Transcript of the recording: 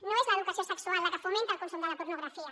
no és l’educació se·xual la que fomenta el consum de la pornografia